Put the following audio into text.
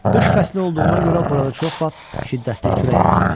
Qış fəslinə olduğuna görə burada çox vaxt şiddətli külək əsirdi.